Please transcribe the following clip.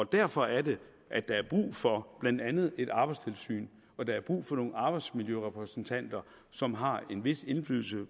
derfor er det at der er brug for blandt andet et arbejdstilsyn og der er brug for nogle arbejdsmiljørepræsentanter som har en vis indflydelse